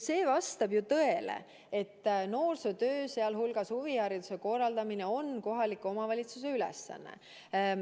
See vastab ju tõele, et noorsootöö, sealhulgas huvihariduse korraldamine on kohaliku omavalitsuse ülesanne.